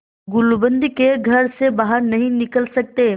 गुलूबंद के घर से बाहर नहीं निकल सकते